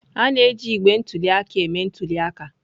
A na-eji igbe ntụli aka eme ntuli aka.